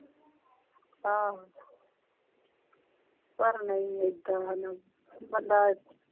ਆਹੋ। ਪਰ ਨਹੀਂ ਇਹਦਾ ਹਣਾ ਬੰਦਾ।